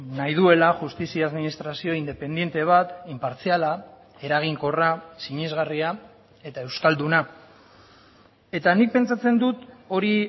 nahi duela justizia administrazio independente bat inpartziala eraginkorra sinesgarria eta euskalduna eta nik pentsatzen dut hori